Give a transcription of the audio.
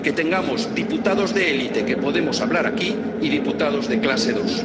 que tengamos diputados de élite, que podemos hablar aquí, y diputados de clase dos